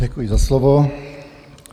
Děkuji za slovo.